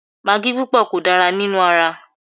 Magí púpọ̀ kò dára nínú ara